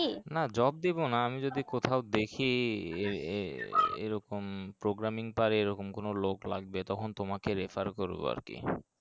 না job দিবো না আমি যদি কোথাও দেখি এ এ এ এ এ এরকম programming পারে এরকম কোনো লোক লাগবে তখন তোমাকে refer করবো আরকি